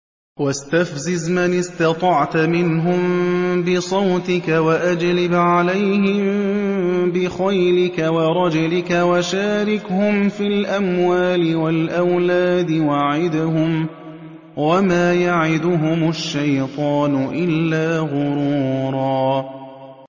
وَاسْتَفْزِزْ مَنِ اسْتَطَعْتَ مِنْهُم بِصَوْتِكَ وَأَجْلِبْ عَلَيْهِم بِخَيْلِكَ وَرَجِلِكَ وَشَارِكْهُمْ فِي الْأَمْوَالِ وَالْأَوْلَادِ وَعِدْهُمْ ۚ وَمَا يَعِدُهُمُ الشَّيْطَانُ إِلَّا غُرُورًا